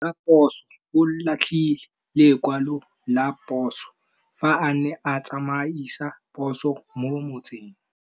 Raposo o latlhie lekwalô ka phosô fa a ne a tsamaisa poso mo motseng.